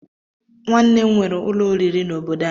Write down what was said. Nwanne m nwere ụlọ oriri n'obodo anyị